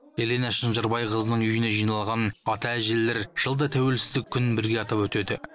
елена шынжырбайқызының үйіне жиналған ата әжелер жылда тәуелсіздік күнін бірге атап өтеді